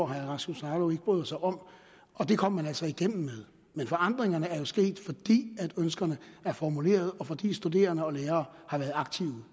herre rasmus jarlov ikke bryder sig om det kom man altså igennem med men forandringerne er jo sket fordi ønskerne er formuleret og fordi studerende og lærere har været aktive